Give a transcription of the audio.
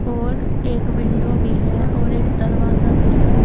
और एक विंडो भी है और एक दरवाजा भी है।